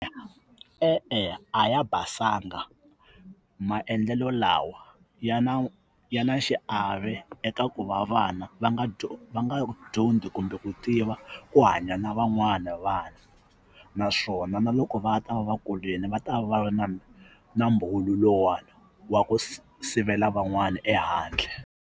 E-e, a ya basanga maendlelo lawa ya na ya na xiave eka ku va vana va nga va nga dyondzi kumbe ku tiva ku hanya na van'wana vanhu naswona na loko va nga ta va va kulini va ta va va na na lowuwani wa ku sivela van'wana ehandle.